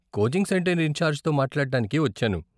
Coaching centre ఇన్ఛార్జ్తో మాట్లాడడానికి వచ్చాను.